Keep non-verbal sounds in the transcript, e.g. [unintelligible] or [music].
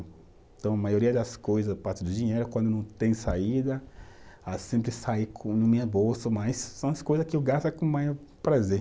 Então, a maioria das coisa, parte do dinheiro, quando não tem saída, ah sempre sai [unintelligible] minha bolso, mas são as coisas que eu gasto com o maior prazer.